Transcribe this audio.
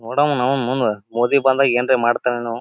ನೋಡಣ ನಾವು ಮುಂದ ಮೋದಿ ಬಂದಾಗ ಏನ್ ರೇ ಮಾಡತ್ತನೇನೋ.